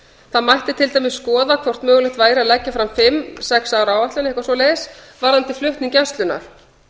það mætti til dæmis skoða hvort mögulegt væri að leggja fram fimm sex ára áætlun varðandi flutning gæslunnar